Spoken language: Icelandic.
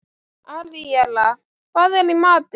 Aríella, hvað er í matinn?